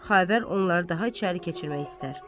Xavər onları daha içəri keçirmək istər.